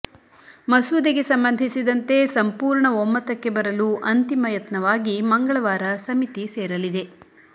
ಮಸೂದೆಗೆ ಸಂಬಂಧಿಸಿದಂತೆ ಸಂಪೂರ್ಣ ಒಮ್ಮತಕ್ಕೆ ಬರಲು ಅಂತಿಮ ಯತ್ನವಾಗಿ ಮಂಗಳವಾರ ಸಮಿತಿ ಸೇರಲಿದೆ